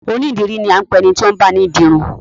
Onídìrí ni a ń pe ẹni tí ó ń báni di irun